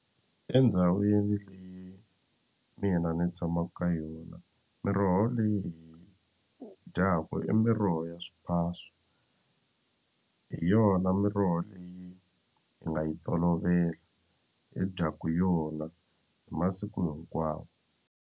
Endhawini leyi mina ni tshamaka ka yona miroho leyi dyaku i miroho ya swiphaswa hi yona miroho leyi hi nga yi tolovela hi dyaku yona hi masiku hinkwawo.